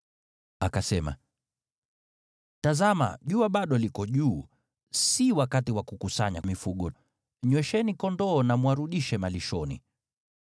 Akasema, “Tazama, jua bado liko juu, si wakati wa kukusanya mifugo. Nywesheni kondoo na mwarudishe malishoni.”